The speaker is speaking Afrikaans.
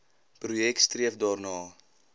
projek streef daarna